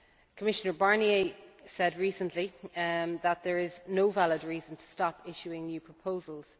Commissioner Barnier said recently that there is no valid reason to stop issuing new proposals.